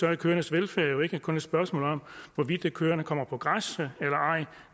er køernes velfærd jo ikke kun et spørgsmål om hvorvidt køerne kommer på græs eller ej